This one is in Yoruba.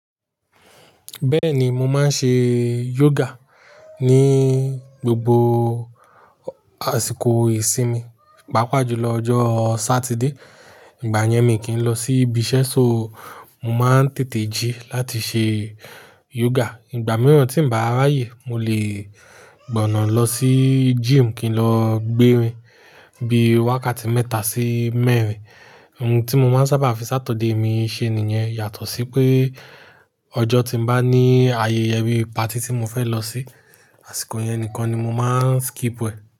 Bẹ́ẹ̀ni mo máa ń ṣe yoga ní gbogbo àsìkò ìsinmi, pàápàá jùlọ ọjọ́ Sátidé. Ìgbà yẹn mi kì í lọ sí ibi iṣẹ́ so, mo máa ń tètè jí láti ṣe yoga. Ìgbà mìíràn tí ń bá ráyè, mo lè gbọ̀nà lọ sí gym kí n lọ gbérin bí wákàtí mẹ́ta sí mẹ́rin. Ohun tí mo máa ń sábà fi Sáturday mi ṣe nìyẹn yàtọ̀ sí pé ọjọ́ tí ń bá ní ayẹyẹ bí party tí mo fẹ́ lọ sí, àsìkò yẹn nìkan ni mo máa ń skip e.